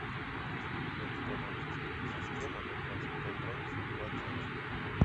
установить сплит система на двадцать пять градусов в одиннадцать